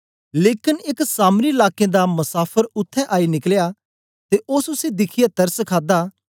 लेकन एक सामरी लाकें दा मसाफर उत्थें आई निकलया ते ओस उसी दिखियै तरस खादा